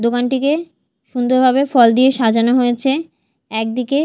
দোকানটিকে সুন্দর ভাবে ফল দিয়ে সাজানো হয়েছে একদিকে---